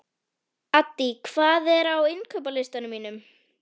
Addý, hvað er á innkaupalistanum mínum?